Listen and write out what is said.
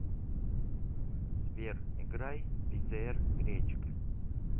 сбер играй пидээр гречка